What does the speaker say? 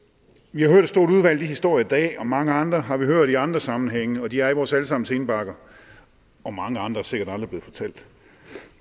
vi har hørt et stort udvalg af de historier i dag og mange andre har vi hørt i andre sammenhænge og de er i vores alle sammens indbakker og mange andre er sikkert aldrig blevet fortalt